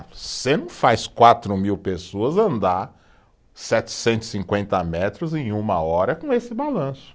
Você não faz quatro mil pessoas andar setecentos e cinquenta metros em uma hora com esse balanço.